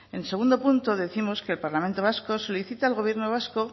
en segundo punto décimos que el parlamento vasco solicita al gobierno vasco